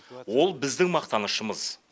ол біздің мақтанышымыз